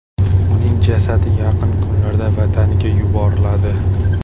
Uning jasadi yaqin kunlarda vataniga yuboriladi.